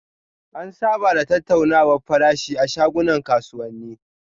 An saba da tattaunawar farashi a shagunan kasuwani.